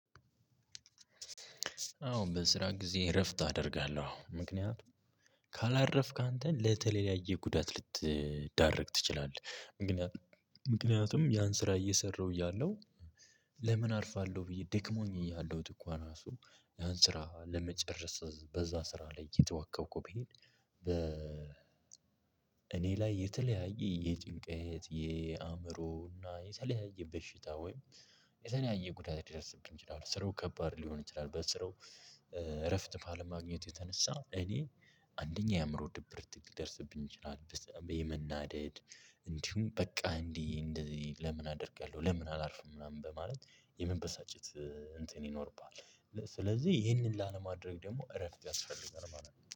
አዎን፣ በስራ ጊዜ እረፍት አደርጋለሁ፤ ምክንያቱም፣ ካላረፍክ አንተን ለተለያየ ጉዳት ልትዳርግ ትችላለህ፤ ምክንያቱም፣ ምክንያቱም፣ ያን ስራ እየሰራሁ ያለው። ለምን አርፋለሁ ብዬ ደክሞኝ እያለሁት እንኳን እራሱ፤ ያን ስራ ለመጨረስ በዛ ስራ ላይ እየተዋከብኩ ብሄድ። በ እኔ ላይ የተለያየ የጭንቀት፣ የአእምሮ፣ እና የሰለያየ በሽታ ወይም የተለያየ ጉዳት ሊደርስብኝ ይችላል፤ ስራው ከባድ ሊሆን ይችላል፤ በስራው እረፍት ባለማግኘት የተነሳ እኔ አንደኛ፣ የአእምሮ ድብርት ሊደርሰብኝ ይችላል፤ ለምሳሌ፣ የመናደድ እንዲሁም በቃ እንዲህ እንደዚህ ለምን አደርጋለሁ? ለምን አላርፍም? ምናምን በማለት የመበሳጨት እንትን ይኖርብሃል፤ ስለዚህ ይሄንን ላለማድረግ ደግሞ እረፍት ያስፈልገናል ማለት ነው፤